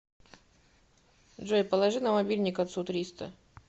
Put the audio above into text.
джой положи на мобильник отцу триста